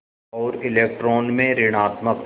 और इलेक्ट्रॉन में ॠणात्मक